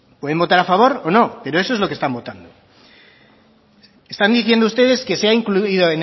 pueden votar a favor o no pero eso es lo que están votando están diciendo ustedes que se ha incluido